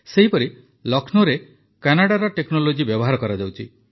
ସେହିପରି ଲକ୍ଷ୍ନୌରେ କାନାଡାର ଟେକ୍ନୋଲୋଜି ବ୍ୟବହାର କରାଯାଉଛି